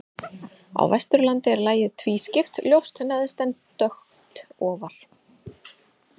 Á Vesturlandi er lagið tvískipt, ljóst neðst en dökkt ofar.